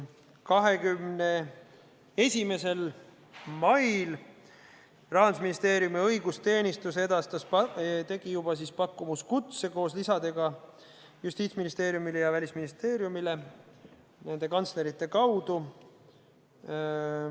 21. mail Rahandusministeeriumi õigusteenistus edastas juba pakkumuskutse koos lisadega Justiitsministeeriumile ja Välisministeeriumile nende kantslerite kaudu.